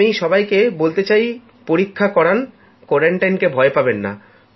আমি সবাইকে বলতে চাই পরীক্ষা করান কোয়ারান্টাইনকে ভয় পাবেন না